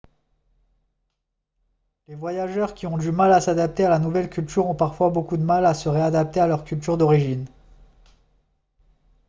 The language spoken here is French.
les voyageurs qui ont eu du mal à s'adapter à la nouvelle culture ont parfois beaucoup de mal à se réadapter à leur culture d'origine